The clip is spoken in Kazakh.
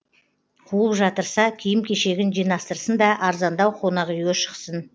қуып жатырса киім кешегін жинастырсын да арзандау қонақ үйге шықсын